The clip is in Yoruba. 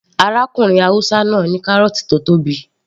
Arákùnrin haúsá náà ní kárọ̀ọ̀tì tó tóbi